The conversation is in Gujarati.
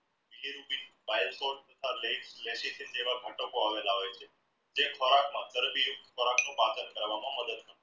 તેવા આવેલા હોય છે જે ખોરાકમાં પાચન કરવામાં મદદ